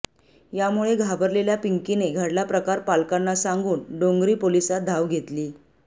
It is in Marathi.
यामुळे घाबरलेल्या पिंकीने घडला प्रकार पालकांना सांगून डोंगरी पोलिसांत धाव घेतली